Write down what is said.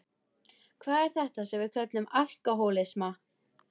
Hvað er þetta sem við köllum alkohólisma?